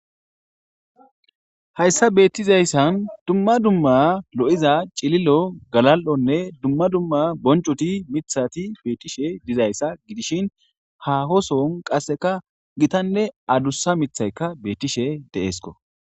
Hayssa beettizayssan dumma dumma lo'iza cililo galal'onne dumma dumma boncoti mithati beetishe dizayssa gidishin hahoson qasseka gitanne adussa mithayka betishe deeesko.